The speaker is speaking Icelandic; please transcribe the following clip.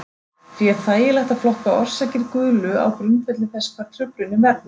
Því er þægilegt að flokka orsakir gulu á grundvelli þess hvar truflunin verður.